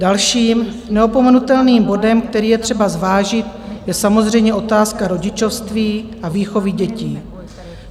Dalším neopomenutelným bodem, který je třeba zvážit, je samozřejmě otázka rodičovství a výchovy dětí.